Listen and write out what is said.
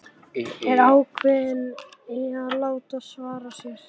Er ákveðin í að láta svara sér.